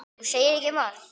Þú segir ekki margt.